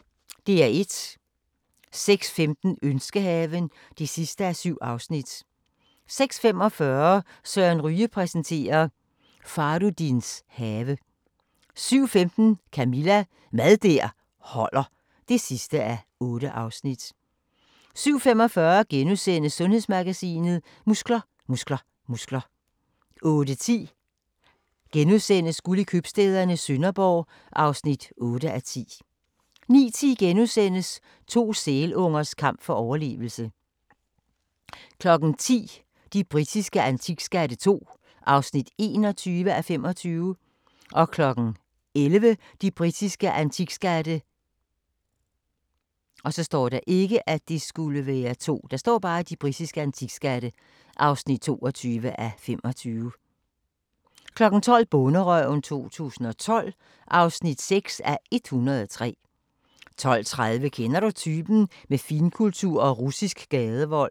06:15: Ønskehaven (7:7) 06:45: Søren Ryge præsenterer: Fahrudins have 07:15: Camilla – Mad der holder (8:8) 07:45: Sundhedsmagasinet: Muskler, muskler, muskler * 08:10: Guld i købstæderne - Sønderborg (8:10)* 09:10: To sælungers kamp for overlevelse * 10:00: De britiske antikskatte II (21:25) 11:00: De britiske antikskatte (22:25) 12:00: Bonderøven 2012 (6:103) 12:30: Kender du typen? – Med finkultur og russisk gadevold